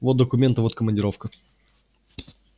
вот документы вот командировка